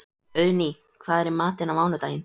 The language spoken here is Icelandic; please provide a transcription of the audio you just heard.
Auðný, hvað er í matinn á mánudaginn?